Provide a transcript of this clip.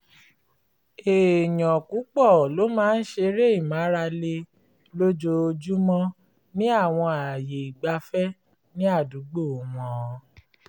èèyàn púpọ̀ ló máa ń ṣeré ìmárale lójoojúmọ́ ní àwọn ààyè ìgbafẹ́ ní àdúgbò wọn